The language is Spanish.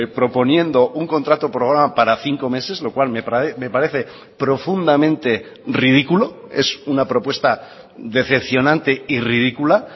proponiendo un contrato programa para cinco meses lo cual me parece profundamente ridículo es una propuesta decepcionante y ridícula